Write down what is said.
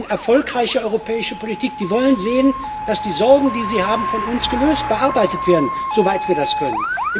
Sie suchen erfolgreiche europäische Politik, sie wollen sehen, dass die Sorgen, die sie haben, von uns gelöst und bearbeitet werden, soweit wir das können.